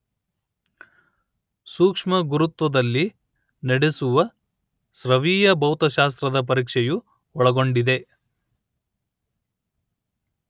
ಸೂಕ್ಷ್ಮ ಗುರುತ್ವದಲ್ಲಿ ನಡೆಸುವ ಸ್ರವೀಯ ಭೌತಶಾಸ್ತ್ರದ ಪರೀಕ್ಷೆಯು ಒಳಗೊಂಡಿದೆ